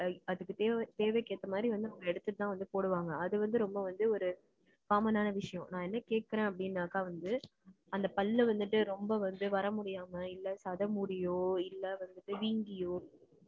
ஐ அதுக்கு தேவை தேவைக்கு ஏத்த மாதிரி வந்து, நம்ம எடுத்துட்டுதான் வந்து போடுவாங்க. அது வந்து, ரொம்ப வந்து ஒரு common ஆன விஷயம். நான் என்ன கேட்கிறேன் அப்படின்னாக்கா வந்து, அந்த பல்லு வந்துட்டு, ரொம்ப வந்து வர முடியாம, இல்லை, சதை முடியோ, இல்லை வந்துட்டு, வீங்கியோ,